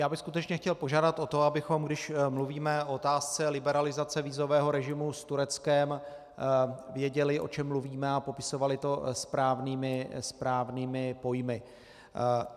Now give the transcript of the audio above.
Já bych skutečně chtěl požádat o to, abychom když mluvíme o otázce liberalizace vízového režimu s Tureckem, věděli, o čem mluvíme, a popisovali to správnými pojmy.